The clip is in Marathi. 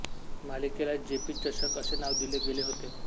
मालिकेला जेपी चषक असे नाव दिले गेले होते